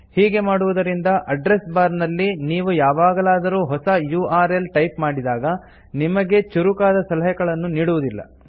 ಹೀಗೆ ಮಾಡುವುದರಿಂದ address bar ನಲ್ಲಿ ನೀವು ಯಾವಗಲಾದರು ಹೊಸ ಯುಆರ್ಎಲ್ ಟೈಪ್ ಮಾಡಿದಾಗ ನಿಮಗೆ ಚುರುಕಾದ ಸಲಹೆಗಳನ್ನು ನೀಡುವುದಿಲ್ಲ